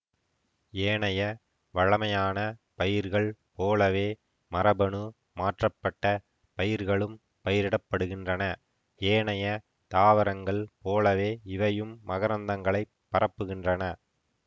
ஏனைய வழமையான பயிர்கள் போலவே மரபணு மாற்றப்பட்ட பயிர்களும் பயிரிட படுகின்றன ஏனைய தாவரங்கள் போலவே இவையும் மகரந்தங்களைப் பரப்புகின்றன